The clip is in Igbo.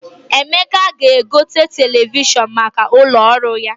Emeka ga-egote televishọn maka ụlọ ọrụ ya.